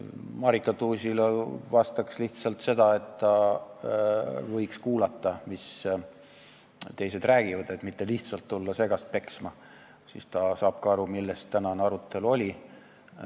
Marika Tuusile vastaks lihtsalt seda, et ta võiks kuulata, mida teised räägivad, mitte lihtsalt tulla segast peksma, siis ta saab ka aru, millest tänane arutelu oli.